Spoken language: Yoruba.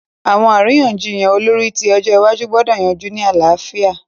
Àwọn àríyànjiyàn olórí ti ọjọ́ iwájú gbọ́dọ̀ yanjú ní àlàáfíà.